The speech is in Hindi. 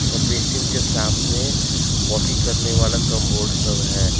बेसिंग के सामने पोटी करने वाला कामबोर्ड सब है।